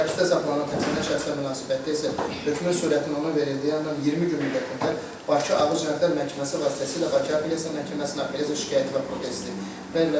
Həbsdə saxlanılan təqsirlənməyən şəxslər münasibətdə isə hökmün sürətinin ona verildiyi andan 20 gün müddətində Bakı Ağır Cinayətlər Məhkəməsi vasitəsilə Bakı Apellyasiya Məhkəməsinə belə şikayət və protest verilə bilər.